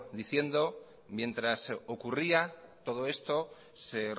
diciendo mientras ocurría todo esto se